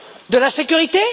De la sécurité?